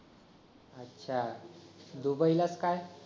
अच्छा दुबई ला काय